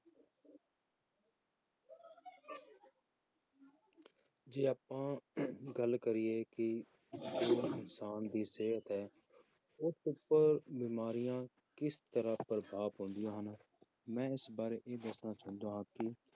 ਜੇ ਆਪਾਂ ਗੱਲ ਕਰੀਏ ਕਿ ਜੋ ਇਨਸਾਨ ਦੀ ਸਿਹਤ ਹੈ ਉਸ ਉੱਪਰ ਬਿਮਾਰੀਆਂ ਕਿਸ ਤਰ੍ਹਾਂ ਪ੍ਰਭਾਵ ਪਾਉਂਦੀਆਂ ਹਨ, ਮੈਂ ਇਸ ਬਾਰੇ ਇਹ ਦੱਸਣਾ ਚਾਹੁੰਦਾ ਹਾਂ ਕਿ